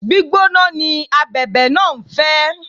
Gbígbóná ni Abẹ̀bẹ̀ náà ń fẹ́.